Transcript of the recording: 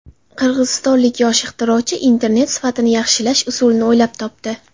Qirg‘izistonlik yosh ixtirochi internet sifatini yaxshilash usulini o‘ylab topdi.